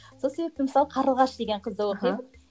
сол себепті мысалы қарлығаш деген қызды оқимын